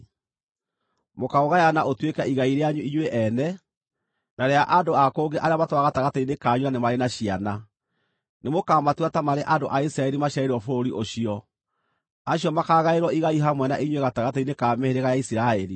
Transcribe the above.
Mũkaũgayana ũtuĩke igai rĩanyu inyuĩ ene, na rĩa andũ a kũngĩ arĩa matũũraga gatagatĩ-inĩ kanyu na nĩ marĩ na ciana. Nĩmũkamatua ta marĩ andũ a Isiraeli maciarĩirwo bũrũri ũcio; acio makaagaĩrwo igai hamwe na inyuĩ gatagatĩ-inĩ ka mĩhĩrĩga ya Isiraeli.